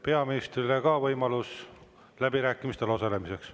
Peaministrile ka võimalus läbirääkimistel osaleda.